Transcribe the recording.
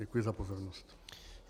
Děkuji za pozornost.